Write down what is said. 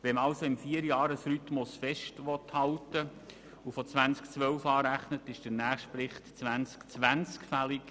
Wenn man also am Vierjahresrhythmus festhalten will und von 2012 an rechnet, ist der nächste Bericht 2020 fällig.